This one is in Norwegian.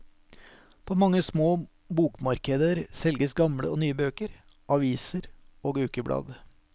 På mange små bokmarkeder selges gamle og nye bøker, aviser og ukeblad.